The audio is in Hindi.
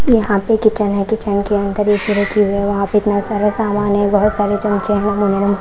यहाँ पे किचन है किचन के अन्दर ए_ सी_ रखी हुई है वहाँ पे इतना सारा सामान है बहुत सारे चमचे हैं --